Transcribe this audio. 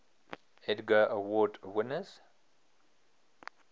edgar award winners